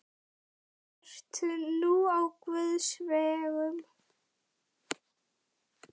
Ert nú á guðs vegum.